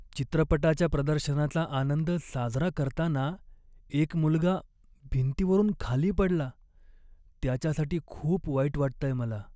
चित्रपटाच्या प्रदर्शनाचा आनंद साजरा करताना एक मुलगा भिंतीवरून खाली पडला. त्याच्यासाठी खूप वाईट वाटतंय मला.